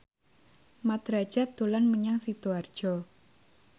Mat Drajat dolan menyang Sidoarjo